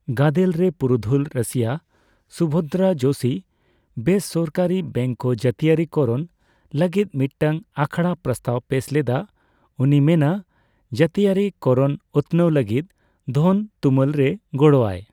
ᱜᱟᱫᱮᱞᱨᱮ ᱯᱩᱨᱩᱫᱷᱩᱞ ᱨᱟᱹᱥᱭᱟᱹ ᱥᱩᱵᱷᱫᱨᱟ ᱡᱳᱥᱤ ᱵᱮᱥᱚᱨᱠᱟᱹᱨᱤ ᱵᱮᱝᱠ ᱠᱚ ᱡᱟᱹᱛᱤᱭᱟᱹᱨᱤ ᱠᱚᱨᱚᱱ ᱞᱟᱹᱜᱤᱫ ᱢᱤᱫᱴᱟᱝ ᱟᱠᱷᱲᱟ ᱯᱨᱚᱥᱛᱟᱵ ᱯᱮᱥ ᱞᱮᱫᱟ; ᱩᱱᱤ ᱢᱮᱱᱼᱟ, ᱡᱟᱹᱛᱤᱭᱟᱹᱨᱤ ᱠᱚᱨᱚᱱ ᱩᱛᱱᱟᱹᱣ ᱞᱟᱹᱜᱤᱫ ᱫᱷᱚᱱ ᱛᱩᱢᱟᱹᱞ ᱨᱮ ᱜᱚᱲᱚ ᱟᱭ ᱾